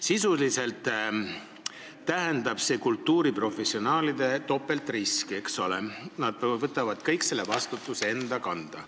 Sisuliselt tähendab see kultuuriprofessionaalidele topeltriski, nad võtavad kogu selle vastutuse enda kanda.